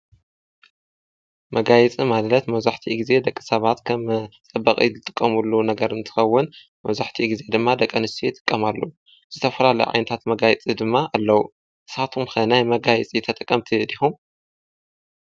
መጋየፂ ማለት መብዛሕትኡ ግዜ ደቂ ሰባት ከም ፅባቀ ዝጥቀምሉ ነገር እንትኸውን ፤ መብዛሕትኡ ግዜ ድማ ደቂ አንስትዮ ይጥቀማሉ፡፡ ዝተፈላለዩ ዓይነታት መጋየፂ ድማ አለው፡፡ ንስካትኩም ኸ ናይ መጋየፂ ተጠቀምቲ ዲኩም?